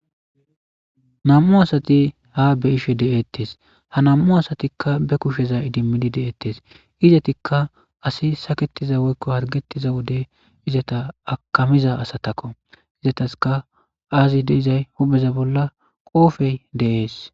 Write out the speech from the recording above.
nam'u asati ha be'ishe de'ettes ha nam'u asatikka be kusheza idimmidi de'ettes izetikka asi saaketiza woykko harggettiza wode izeta aakamiza asatakko izataska aazi de'izay hupheza bolla qoofey de'ees